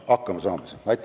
Aitäh!